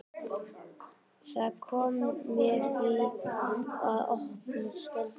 Það kom mér því í opna skjöldu þegar